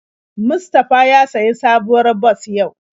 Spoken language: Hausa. Mustafa ya sayi sabuwar bas yau.